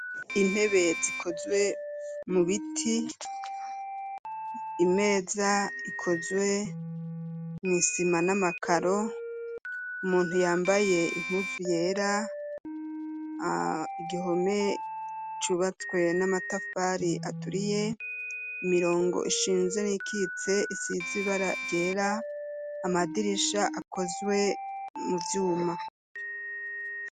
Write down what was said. Intebe zikozwe mu biti, imeza ikozwe mw'isima n'amakaro, umuntu yambaye impuzu yera, igihome cubatswe n'amatafari aturiye, imirongo ishinze n'iyikitse isize ibara ryera, amadirisha akozwe mu vyuma.